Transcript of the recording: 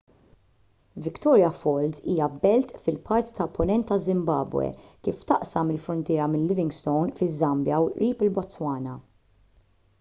victoria falls hija belt fil-parti tal-punent taż-żimbabwe kif taqsam il-fruntiera minn livingstone fiż-żambja u qrib il-botswana